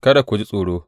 Kada ku ji tsoro.